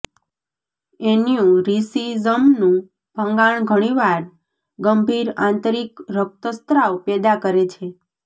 એન્યુરિસિઝમનું ભંગાણ ઘણીવાર ગંભીર આંતરિક રક્તસ્ત્રાવ પેદા કરે છે